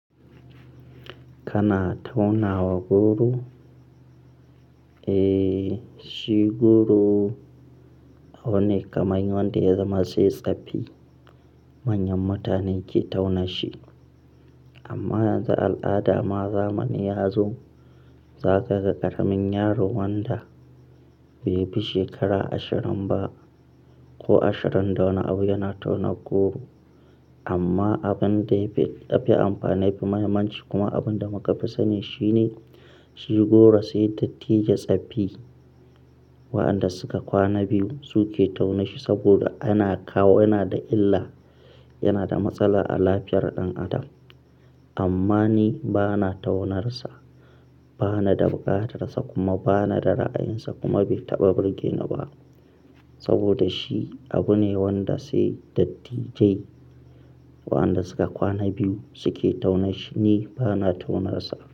Kana tauna wa goro? Eh, shi goro wani kaman wanda ya zama sai tsaffi manyan mutane ke tauna shi. Amma yanzu al'ada ma zamani ya zo za ka ga ƙaramin yaron wanda bai fi shekara ashirin ba ko ashirin da wani abu yana tauna goro. Amma abin da ya fi yafi amfani, yafi mahimmanci kuma abin da muka fi sani shi ne shi goro sai dattijai tsafi waɗanda suka kwana biyu suke tauna shi saboda yana kawo, yana da illa, yana da matsala a lafiyar ɗan adam. Amma ni ba na taunarsa, ba na dabuƙatarsa kuma ba na da ra'ayinsa kuma bai taɓa burgeni ba. Saboda shi abu ne wanda sai dattijai waɗanda suka kwana biyu suke tauna shi. Ni ba na taunarsa.